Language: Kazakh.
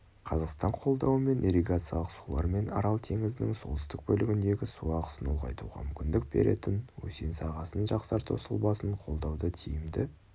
қазақстан қолдауымен ирригациялық сулар мен арал теңізінің солтүстік бөлігіндегі су ағысын ұлғайтуға мүмкіндік беретін өзен сағасын жақсарту сұлбасын қолдауды тиімді